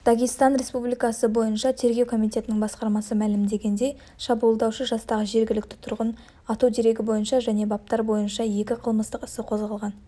дагестан республикасы бойынша тергеу комитетінің басқармасы мәлімдегендей шабуылдаушы жастағы жергілікті тұрғын ату дерегі бойынша және баптар бойынша екі қылмыстық іс қозғалған